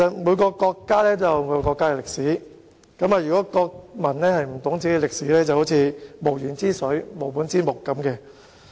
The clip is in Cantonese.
每個國家均有其歷史，國民若不懂本國歷史，便猶如無源之水，無本之木。